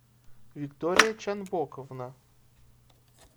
виктория чанбоковна